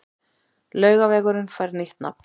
Laugavegurinn fær nýtt nafn